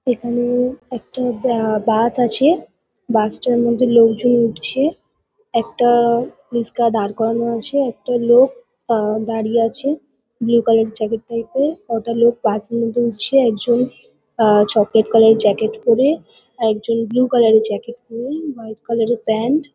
এখানে-এ একটা বা বাস আছে। বাস -টার মধ্যে লোকজন উঠছে। একটা-আ রিশকা দাঁড় করানো আছে। একটা লোক আ দাঁড়িয়ে আছে ব্লু কালার -এর জ্যাকেট ট্যাকেট পরে। কটা লোক বাস -এর মধ্যে উঠছে। একজন আ চকলেট কালার -এর জ্যাকেট পরে। একজন ব্লু কালার -এর জ্যাকেট পরে হোয়াইট কালার -এর প্যান্ট --